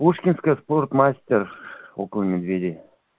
пушкинская спортмастер около медведей